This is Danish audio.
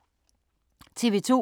TV 2